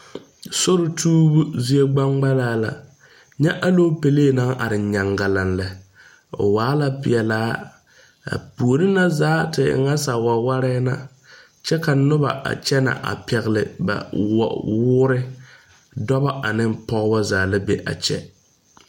Sori tuobu zie gbaŋgbaŋlaa la. Nyɛ alopɛleɛ ŋa are nyangalaŋ lɛ. O waa la piɛlaa. A poore ŋa zaa te e ŋa sawawarɛ ŋa. Kyɛ ka noba a kyɛne a pɛgle ba wuure. Dɔbɔ ane pɔgɔbɔ zaa la bɛ a kyɛ.